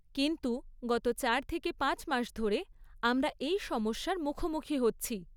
কিন্তু, গত চার থেকে পাঁচ মাস ধরে আমরা এই সমস্যার মুখোমুখি হচ্ছি।